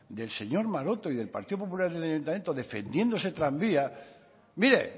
del señor maroto y del partido popular en el ayuntamiento defendiendo este tranvía mire